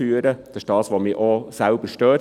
Es ist das, was mich selbst stört.